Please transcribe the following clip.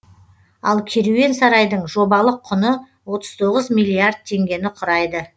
ал керуен сарайдың жобалық құны отыз тоғыз миллиард теңгені құрайды